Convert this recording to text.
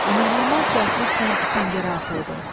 İnanılmaz cəldliklə səngərə atıldı.